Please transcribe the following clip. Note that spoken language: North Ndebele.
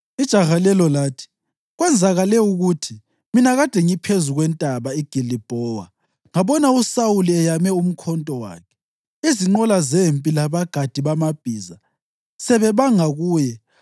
Ijaha lelo lathi, “Kwenzakele ukuthi mina kade ngiphezu kweNtaba iGilibhowa ngabona uSawuli eyame umkhonto wakhe, izinqola zempi labagadi bamabhiza sebebanga kuye.